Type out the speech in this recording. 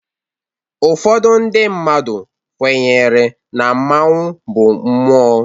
Ụfọdụ ndị mmadụ kwenyere na mmanwu bụ mmụọ.